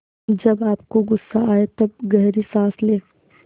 जब आपको गुस्सा आए तब गहरी सांस लें